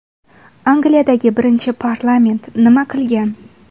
Angliyadagi birinchi parlament nima qilgan?